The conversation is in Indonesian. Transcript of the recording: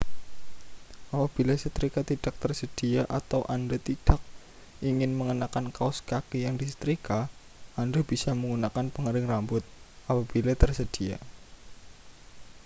apabila setrika tidak tersedia atau anda tidak ingin mengenakan kaos kaki yang disetrika anda bisa menggunakan pengering rambut apabila tersedia